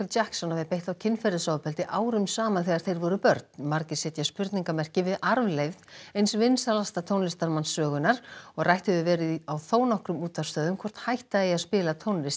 Jackson hafi beitt þá kynferðisofbeldi árum saman þegar þeir voru börn margir setja spurningamerki við arfleifð eins vinsælasta tónlistarmanns sögunnar og rætt hefur verið á þónokkrum útvarpsstöðvum hvort hætta eigi að spila tónlist